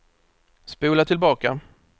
spola tillbaka